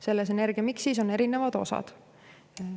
Selles energiamiksis on erinevad osad.